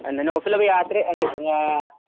റോട്ടിലൊക്കെ രാത്രി